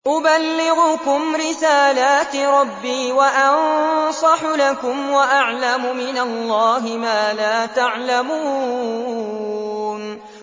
أُبَلِّغُكُمْ رِسَالَاتِ رَبِّي وَأَنصَحُ لَكُمْ وَأَعْلَمُ مِنَ اللَّهِ مَا لَا تَعْلَمُونَ